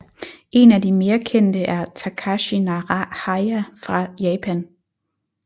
En af de mere kendte er Takashi Naraha fra Japan